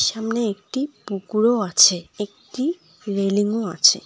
ছামনে একটি পুকুরও আছে একটি রেলিংও আছে।